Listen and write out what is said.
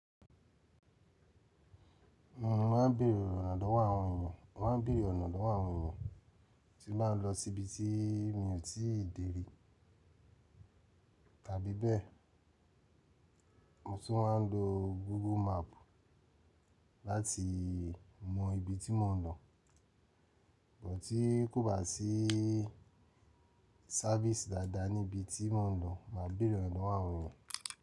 Mo máa ń bèèrè ọ̀nà lọ̀wò àwọn èèyàn, mo má ń bèèrè ọ̀nà lọ̀wọ̀ àwọn èèyàn tí báa ń lọ síbi tí mi ò tí ì dè rí tàbí bẹ́ẹ̀. Mo tún máa ń lo Google map láti mọ ibi tí mò ń lọ. Bọ tí kò bá sí service dáadáa ní ibi tí mò ń lọ, màá beere ọ̀nà lọ̀wọ̀ àwọn èèyàn.